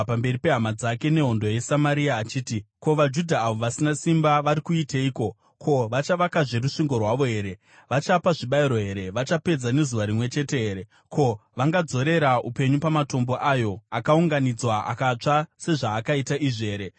pamberi pehama dzake nehondo yeSamaria, achiti, “Ko, vaJudha avo vasina simba vari kuiteiko? Ko, vachavakazve rusvingo rwavo here? Vachapa zvibayiro here? Vachapedza nezuva rimwe chete here? Ko, vangadzorera upenyu pamatombo ayo akaunganidzwa, akatsva sezvaakaita izvi here?”